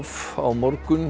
á morgun